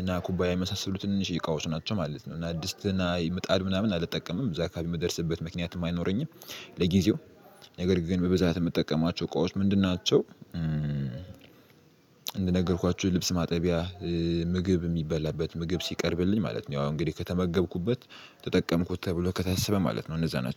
እና ኩባያ የመሳሰሉት ትንንሽዬ እቃዎች ናቸው ማለት ነው። እና ድስትና ምጣድ ምናምን አልጠቀምም እዚያ አካባቢ የምደርስበት ምክንያትም አይኖረኝም። ለጊዜው ነገር ግን በብዛት የምጠቀማቸው እቃዎች ምንድን ናቸው? እንደነገርኳችሁ ልብስ ማጠቢያ ምግብ የሚበላበት ምግብ ሲቀርብልኝ ማለት ነው። ያው እንግዲህ ከተመገብኩበት ተጠቀምኩት ተብሎ ከተሰበ ማለት ነው። እነዚያ ናቸው